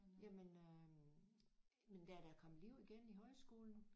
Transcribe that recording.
Jamen øh men der er da kommet liv igen i højskolen